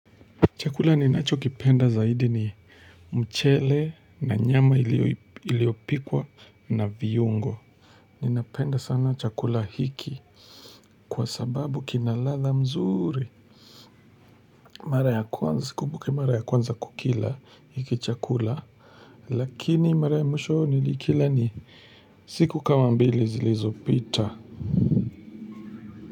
Chakula ninachokipenda zaidi ni mchele na nyama iliopikwa na viungo ninapenda sana chakula hiki kwa sababu kinaladha mzuri. Mara ya kwanza sikumbuki mara ya kwanza kukila hiki chakula lakini mara ya mwisho nilikila ni siku kama mbili zilizopita.